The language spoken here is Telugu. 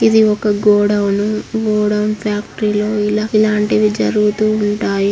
ఇది ఒక గోడౌన్ గోడౌన్ ఫ్యాక్టరీలో ఇలా ఇలాంటివి జరుగుతూ ఉంటాయి.